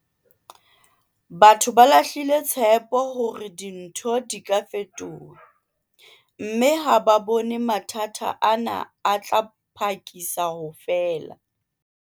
Batho ba lahlile tshepo hore dintho di ka fetoha, mme ha ba bone mathata ana a tla phakisa ho fela.